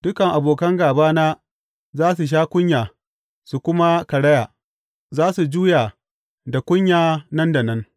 Dukan abokan gābana za su sha kunya su kuma karaya; za su juya da kunya nan da nan.